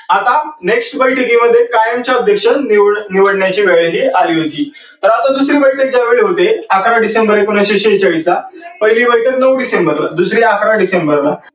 आता next बैठकी मध्ये कायमचे सदस्य निवडायची वेळ ही आली होती. तर आता दुसरी बैठक त्या वेळी होते अकरा डिसेंबर एकोनवीसशे शेचाळीस ला. पहिली बैठक नऊ डिसेंबर ला दुसरी, अकरा डिसेंबर ला.